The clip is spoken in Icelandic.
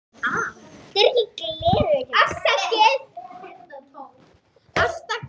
Hvað gat ég annað?